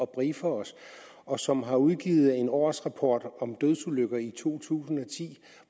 briefer os og som har udgivet en årsrapport om dødsulykker i to tusind og ti